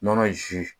Nɔnɔ ji